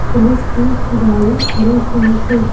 Police की गाड़ी खड़ी हुई है।